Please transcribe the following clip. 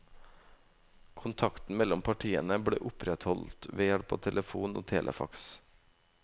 Kontakten mellom partene ble opprettholdt ved hjelp av telefon og telefax.